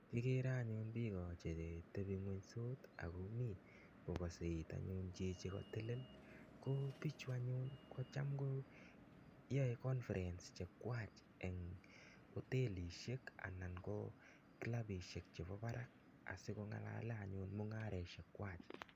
igeere anyun bik chemgony che kelach sut akoebeit chito nekatonon. ko bichu anyun koaei conference nenywa eng otelishien anan ko klabishiek che ba barak asi kongalalee anyun mungaroshek kwak